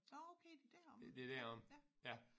Nåh okay det deromme ja ja